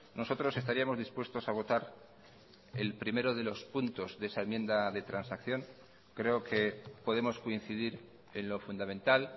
nosotros estaríamos dispuestos a votar el primero de los puntos de esa enmienda de transacción creo que podemos coincidir en lo fundamental